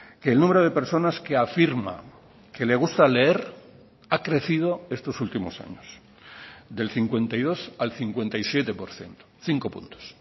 que el número de personas que afirma que le gusta leer ha crecido estos últimos años del cincuenta y dos al cincuenta y siete por ciento cinco puntos